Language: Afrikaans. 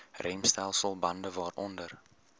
remstelsel bande waaronder